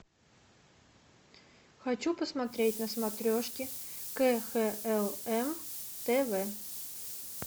хочу посмотреть на смотрешке кхлм тв